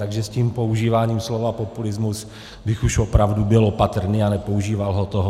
Takže s tím používáním slova populismus bych už opravdu byl opatrný a nepoužíval ho tolik.